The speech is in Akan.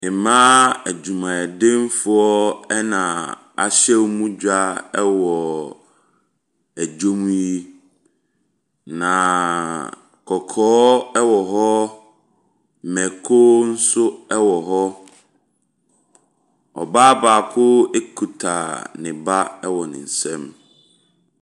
Mmaa adwumadenfoɔ ɛna ahyɛ wɔn dwa mu yi, na kɔkɔɔ ɛwɔ hɔ, mako nso ɛwɔ hɔ. Ɔbaa baako akita ne ba ɛwɔ ne nsam.